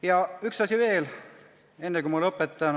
Ja üks asi veel, enne kui lõpetan.